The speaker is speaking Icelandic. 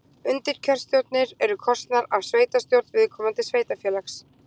Undirkjörstjórnir eru kosnar af sveitastjórn viðkomandi sveitarfélags.